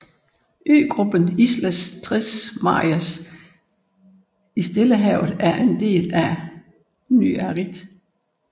Øgruppen Islas Tres Marias i Stillehavet er en del af Nayarit